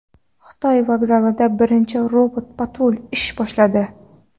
Xitoy vokzalida birinchi robot-patrul ish boshladi.